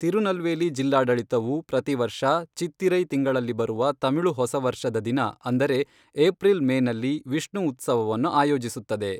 ತಿರುನೆಲ್ವೇಲಿ ಜಿಲ್ಲಾಡಳಿತವು ಪ್ರತಿವರ್ಷ ಚಿತ್ತಿರೈ ತಿಂಗಳಲ್ಲಿ ಬರುವ ತಮಿಳು ಹೊಸ ವರ್ಷದ ದಿನ, ಅಂದರೆ ಏಪ್ರಿಲ್ ಮೇನಲ್ಲಿ ವಿಷ್ಣು ಉತ್ಸವವನ್ನು ಆಯೋಜಿಸುತ್ತದೆ.